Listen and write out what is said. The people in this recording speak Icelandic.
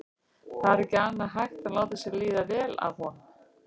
Það var ekki annað hægt en láta sér líða vel af honum.